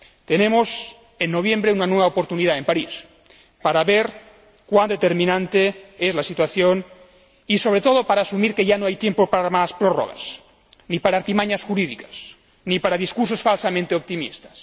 Tenemos en noviembre una nueva oportunidad, en París, para ver cuán determinante es la situación y, sobre todo, para asumir que ya no hay tiempo para más prórrogas, ni para artimañas jurídicas, ni para discursos falsamente optimistas.